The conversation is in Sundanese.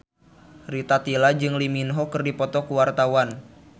Rita Tila jeung Lee Min Ho keur dipoto ku wartawan